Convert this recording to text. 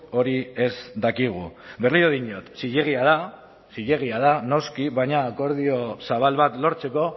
hori ez dakigu berriro diot zilegia da zilegia da noski baina akordio zabal bat lortzeko